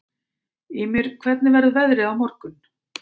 Ymir, hvernig verður veðrið á morgun?